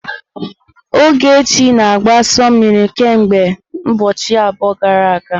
Ogechi na-agbụ asu mmiri kemgbe ụbọchị abụọ gara aga.